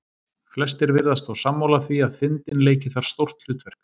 Flestir virðast þó sammála því að þindin leiki þar stórt hlutverk.